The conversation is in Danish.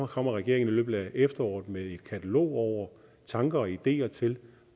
kommer regeringen i løbet af efteråret med et katalog over tanker og ideer til